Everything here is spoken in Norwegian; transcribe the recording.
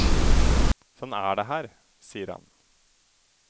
Sånn er det her, sier han.